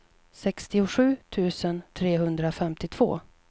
sextiosju tusen trehundrafemtiotvå